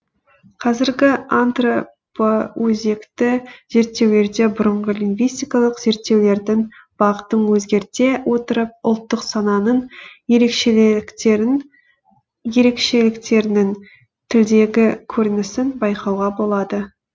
қазіргі антропоөзекті зерттеулерде бұрынғы лингвистикалық зерттеулердің бағытын өзгерте отырып ұлттық сананың ерекшеліктерінің тілдегі көрінісін байқауға болады